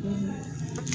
Ɛɛ